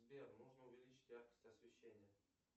сбер нужно увеличить яркость освещения